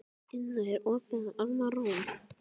Inna, er opið í Almannaróm?